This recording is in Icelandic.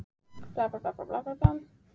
Fjötruðu Haðar hendur, huldust lönd og strendur.